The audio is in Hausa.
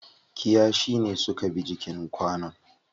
Kiyashi ne suka bi jikin kwanon.